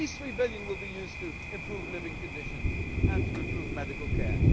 These EUR 3 billion will be used to improve living conditions and to improve medical